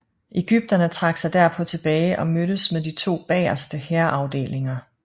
Ægypterne trak sig derpå tilbage og mødtes med de to bagerste hærafdelinger